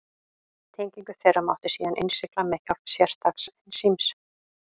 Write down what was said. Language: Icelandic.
Tengingu þeirra mátti síðan innsigla með hjálp sérstaks ensíms.